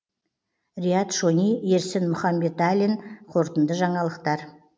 риат шони ерсін мұханбеталин қорытынды жаңалықтар